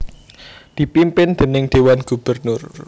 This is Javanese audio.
dipimpin déning Dewan Gubernur